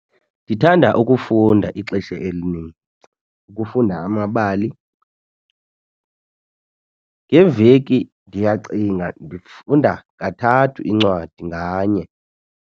Ndithanda ukufunda ixesha elinintsi, ukufunda amabali. Ngeveki ndiyacinga ndifunda kathathu incwadi nganye.